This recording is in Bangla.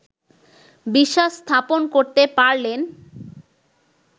বিশ্বাস স্থাপন করতে পারলেন